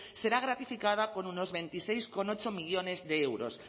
será gratificada con unos veintiséis coma ocho millónes de euros